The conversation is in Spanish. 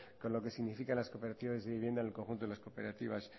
con lo que significan las cooperativas de vivienda en el conjunto de las cooperativas